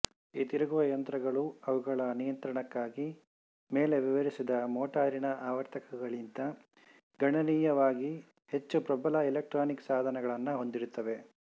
ಈ ತಿರುಗುವ ಯಂತ್ರಗಳು ಅವುಗಳ ನಿಯಂತ್ರಣಕ್ಕಾಗಿ ಮೇಲೆ ವಿವರಿಸಿದ ಮೋಟಾರಿನ ಆವರ್ತಕಗಳಿಗಿಂತ ಗಣನೀಯವಾಗಿ ಹೆಚ್ಚು ಪ್ರಬಲ ಇಲೆಕ್ಟ್ರಾನಿಕ್ ಸಾಧನಗಳನ್ನು ಹೊಂದಿರುತ್ತವೆ